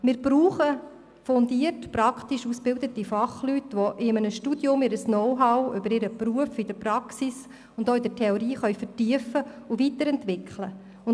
Wir brauchen fundiert praktisch ausgebildete Fachleute, die in einem Studium ihr berufliches Know-how auf praktischer und theoretischer Ebene vertiefen und weiterentwickeln können.